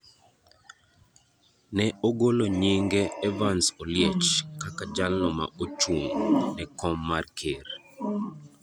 ne ogolo nyinge Evans Oliech kaka jalno ma ochung’ ne kom mar ker.